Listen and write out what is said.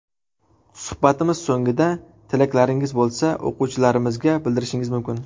Suhbatimiz so‘nggida tilaklaringiz bo‘lsa, o‘quvchilarimizga bildirishingiz mumkin.